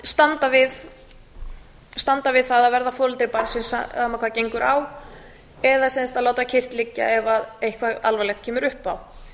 standa við það að verða foreldri barnsins sama hvað gengur á eða sem sagt að láta kyrrt liggja ef eitthvað alvarlegt kemur upp á